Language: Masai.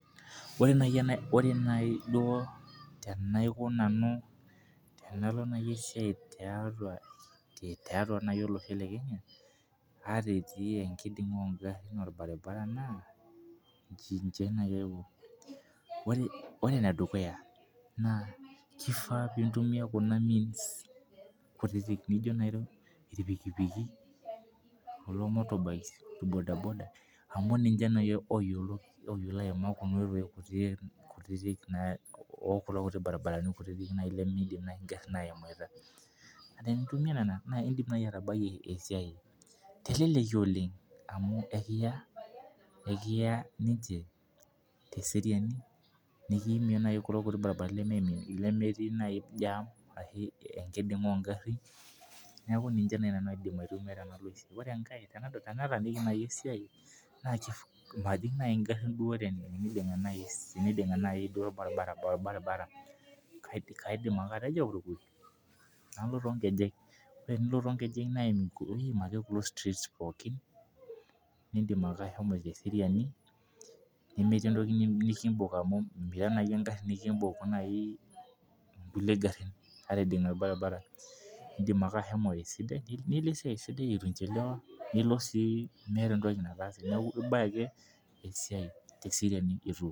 Ore naji duo tenaiko nanu tenalo naji esai to Losho le Kenya aata etii inkidimga oo garin naa ijin naji aiko ore ene dukuya naa keifaa nintumia kuna Means kutitik naino irpikipiku kulo mortobikes tu bodaboda amu ninche naji eyiolo aima kuna oitoi kutitik oo kulo kutitik baribarani kutitik nemeidim naji igarin ahomoito naa kre peintumia nena naa idim naji atabai esiai teleleki oleng' amu ekiyaa ninche te seriani nikiimie naji kulo kutiti barabarani lemeeti naji jam ashu enkiding'a oo garin neeku ninche naji nanu aidim atumia tenalo esia. Ore enkae tenataniki naji esai majing naji igarin duo teniding'a orabaribara kaidim ake atejo kalo too nkejek naa tenilo too nkejek naa iim ake kulo streets pookin nidim ake ashomo te seriani nemeeti entoki nikibok amuu miya naji agari nikibok naji kulie garin ata idinga orabaribara idim ake ashomo esia esidai aitu inchiliwa nilo sii meeta entoki nataase neeku ilo ake esiai tee seriani eitu.